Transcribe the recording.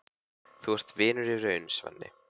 Þú ert vinur í raun, Svenni.